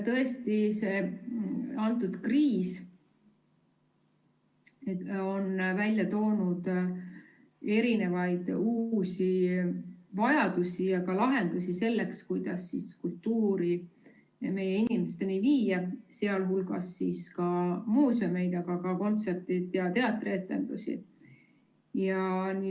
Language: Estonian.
Tõesti, see kriis on välja toonud uusi vajadusi ja ka lahendusi selleks, kuidas kultuuri meie inimesteni viia, sh muuseume, aga ka kontserte ja teatrietendusi.